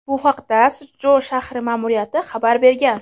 Bu haqda Suchjou shahri ma’muriyati xabar bergan.